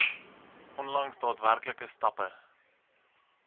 onlangs daadwerklike stappe